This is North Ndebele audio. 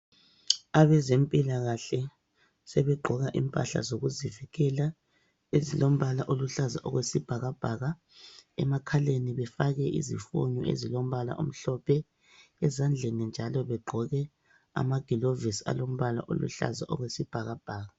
Abezempilakahle sebegqoka impahla zokuzivikela ezilombala oluhlaza okwesibhakabhaka. Emakhaleni befake izifonyo ezilombala omhlophe, ezandleni njalo begqoke amagilovisi alombala oluhlaza okwesibhakabhaka.